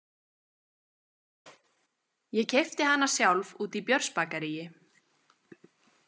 Ég keypti hana sjálf úti í Björnsbakaríi